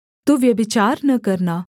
तू व्यभिचार न करना